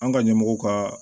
An ka ɲɛmɔgɔw ka